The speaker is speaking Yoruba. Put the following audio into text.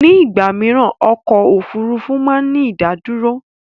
Ní ìgbà mìíràn ọkọ̀ Òfurufú máa ń ní ìdádúró.